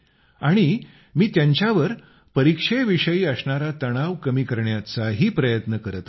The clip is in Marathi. आणि मी त्यांच्यावर परीक्षेविषयी असणारा तणाव कमी करण्याचाही प्रयत्न करीत असतो